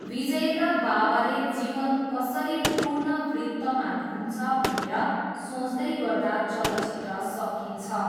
विजयका बाबाले जीवन कसरी पूर्ण वृत्तमा घुम्छ भनेर सोच्दैगर्दा चलचित्र सकिन्छ।